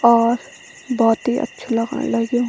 और बहौत ही अछू लगण लग्युं।